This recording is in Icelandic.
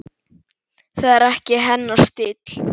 Það er ekki hennar stíll.